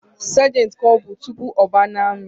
Sergentu ka ọbụ mbụ nọ n’ami